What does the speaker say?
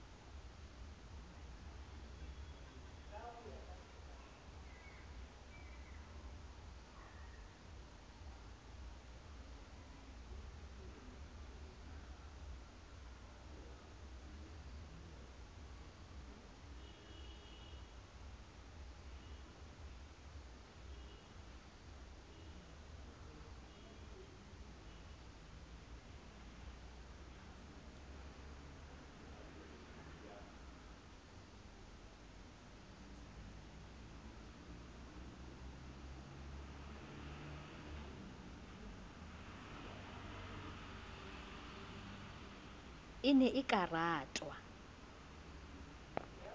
e ne e ka ratwa